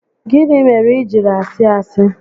Gịnị mere i jiri asị asị?